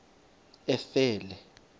efele